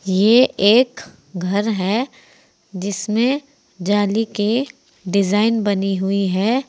ये एक घर है जिसमें जाली के डिजाइन बनी हुई है।